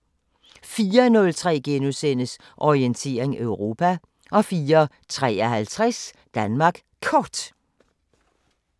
04:03: Orientering Europa * 04:53: Danmark Kort